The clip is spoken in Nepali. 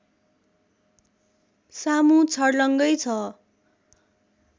सामु छर्लङ्गै छ